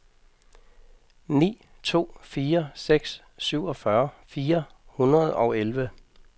ni to fire seks syvogfyrre fire hundrede og elleve